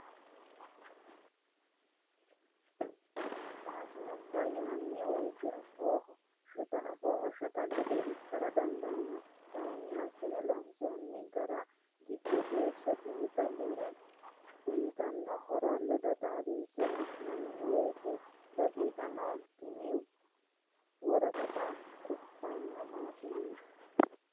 Maashinubba yinanni woyte afooho shotta gede ikkara dandaano kayinni assine loonsonni gara giddo geeshsha xiinxalline uyittano horo ledo xaadinse la'nanni woyte dinqano, tini woraqatta tufano maashineti.